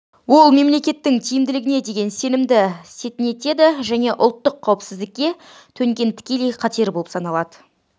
ол мемлекеттің тиімділігіне деген сенімді сетінетеді және ұлттық қауіпсіздікке төнген тікелей қатер болып саналады